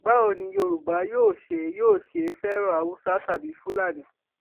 báwo ni yorùbá yóò ṣe yóò ṣe fẹràn haúsá tàbí fúlàní